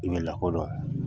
I bɛ lakɔdɔn